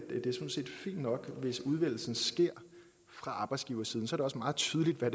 fint nok hvis udvælgelsen sker fra arbejdsgiversiden så det også meget tydeligt hvad